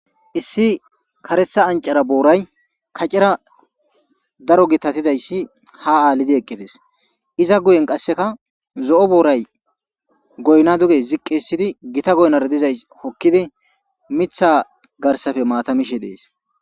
Issi karetha anccara booray kacera daro githathidayssi haa aalidi eqqi des; iza guyen qasseka zo7o booray goyna duge ziqqiissidi githa goynara dizay hokkidi miththaa garssafe maatha mishe dees.